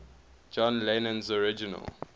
john lennon's original